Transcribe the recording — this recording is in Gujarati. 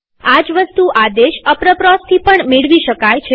આ જ વસ્તુ આદેશ aproposથી પણ મેળવી શકાય